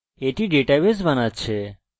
এটি এখন ডেটাবেস বানাচ্ছে